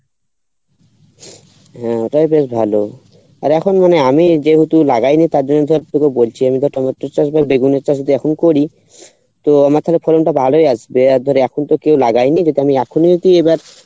ও ওটাই বেশ ভালো আর এখন মানে আমি যেহেতু লাগাইনি তার জন্য ধর তোকে বলছি আমি but আমার তো চাষ বেগুনের চাষ যদি এখন করি তো আমার তালে ফলন টা ভালোই আসবে আর ধর এখন তো কেও লাগাইনি যেহেতু আমি এখনো